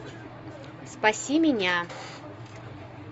спаси меня